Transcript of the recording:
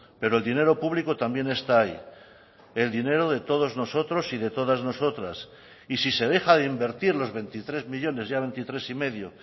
pero el dinero público también está ahí el dinero de todos nosotros y de todas nosotras y si se deja de invertir los veintitrés millónes ya veintitrés y medio